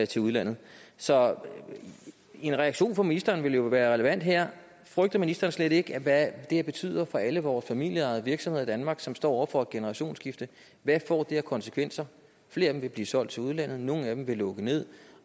til udlandet så en reaktion på ministeren ville jo være relevant her frygter ministeren slet ikke hvad det her betyder for alle vores familieejede virksomheder i danmark som står over for et generationsskifte hvad får det af konsekvenser flere af dem vil blive solgt til udlandet nogle af dem vil lukke ned